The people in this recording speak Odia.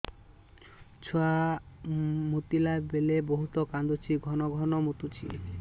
ଛୁଆ ମୁତିଲା ବେଳେ ବହୁତ କାନ୍ଦୁଛି ଘନ ଘନ ମୁତୁଛି